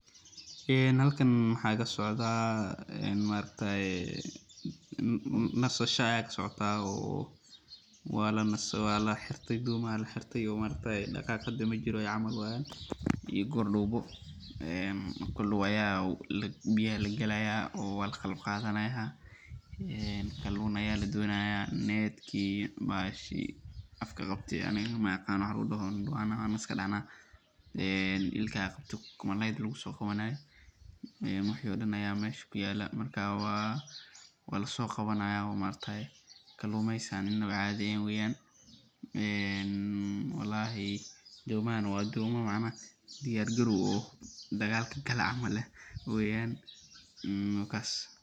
Halkan waxaa kasocdaa maaragtaye nasasha ayaa kasocotaa oo waa laxirte doomaha ayaa laxirte oo daqaaq hada majiro weeyan, marka biyaha ayaa lagalaaya oo waa laqalab qaadanaaya, kalun ayaa ladonaaya, netki iyo bahashi ilkaha qabte oo malaayda lagu soo qabanaaye, wixi oo dan ayaa meesha kuyaala, marka waa lasoo qabanaayo oo kaluumeysi inaba caadi eheen ayaa dacaaya, walahi doomaha na waa dooma diyaar galoow ah oo dagaalka gala camal ah weeyan.